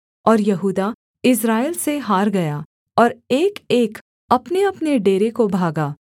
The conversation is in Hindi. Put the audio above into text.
और यहूदा इस्राएल से हार गया और एकएक अपनेअपने डेरे को भागा